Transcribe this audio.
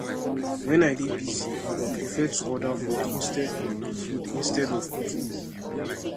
wen i dey busy i go prefer to order food instead food instead of cooking